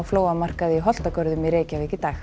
flóamarkaði í Holtagörðum í Reykjavík í dag